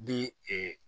Ni